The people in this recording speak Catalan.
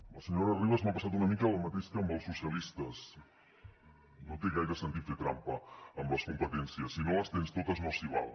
amb la senyora ribas m’ha passat una mica el mateix que amb els socialistes no té gaire sentit fer trampa amb les competències si no les tens totes no s’hi val